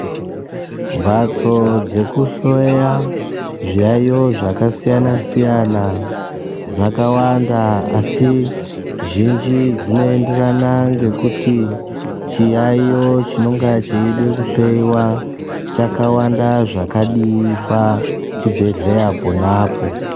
Mbatso dzekuhloya zviyayo zvakasiyana-siyana, dzakawanda asi zhinji dzinoenderana ngekuti chiyayo chinonga cheyida kuhloyiwa ,chakawanda zvakadiyi pach ibhedhleya ponapo.